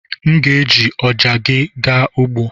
M ga-eji ọja gị gaa ugbo.